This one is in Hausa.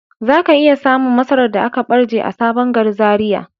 Zaka iya samun masarar da aka barje a sabon gari Zaria.